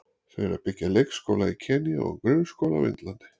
Þau eru að byggja leikskóla í Kenýa og grunnskóla á Indlandi.